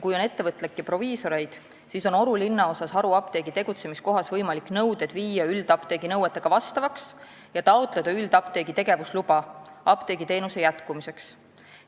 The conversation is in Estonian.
Kui on ettevõtlikke proviisoreid, siis on Oru linnaosas haruapteegi tegutsemiskohas võimalik viia nõuded üldapteegi omadele vastavaks ja taotleda üldapteegi tegevusluba apteegiteenuse jätkumiseks.